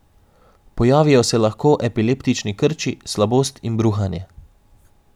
Pojavijo se lahko epileptični krči, slabost in bruhanje.